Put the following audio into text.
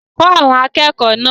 Kọ́ àwọn akẹ́kọ̀ọ́ náà!